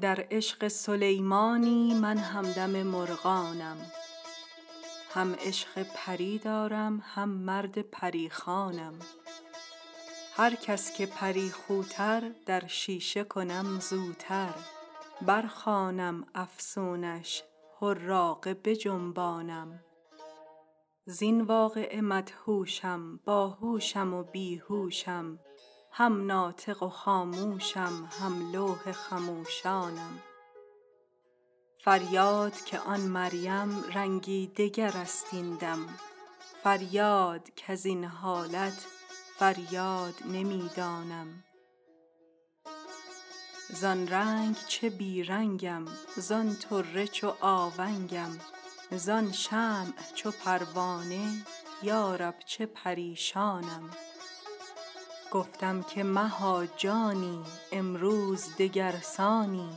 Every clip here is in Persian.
در عشق سلیمانی من همدم مرغانم هم عشق پری دارم هم مرد پری خوانم هر کس که پری خوتر در شیشه کنم زوتر برخوانم افسونش حراقه بجنبانم زین واقعه مدهوشم باهوشم و بی هوشم هم ناطق و خاموشم هم لوح خموشانم فریاد که آن مریم رنگی دگر است این دم فریاد کز این حالت فریاد نمی دانم زان رنگ چه بی رنگم زان طره چو آونگم زان شمع چو پروانه یا رب چه پریشانم گفتم که مها جانی امروز دگر سانی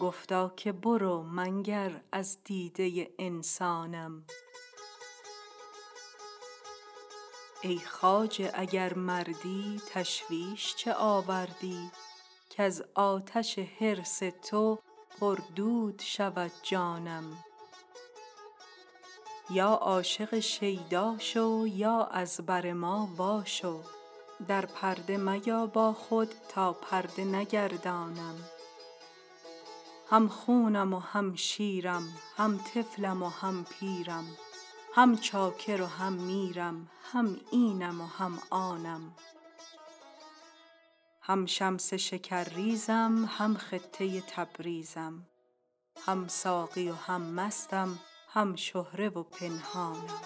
گفتا که برو منگر از دیده انسانم ای خواجه اگر مردی تشویش چه آوردی کز آتش حرص تو پردود شود جانم یا عاشق شیدا شو یا از بر ما واشو در پرده میا با خود تا پرده نگردانم هم خونم و هم شیرم هم طفلم و هم پیرم هم چاکر و هم میرم هم اینم و هم آنم هم شمس شکرریزم هم خطه تبریزم هم ساقی و هم مستم هم شهره و پنهانم